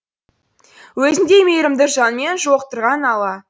өзіңдей мейірімді жанмен жолықтырған алла